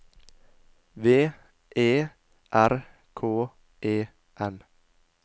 V E R K E N